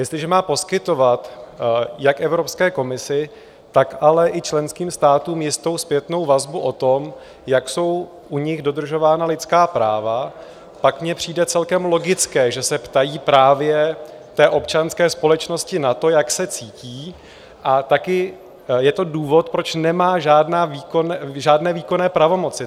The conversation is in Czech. Jestliže má poskytovat jak Evropské komisi, tak ale i členským státům jistou zpětnou vazbu o tom, jak jsou u nich dodržována lidská práva, pak mně přijde celkem logické, že se ptají právě té občanské společnosti na to, jak se cítí, a také je to důvod, proč nemá žádné výkonné pravomoci.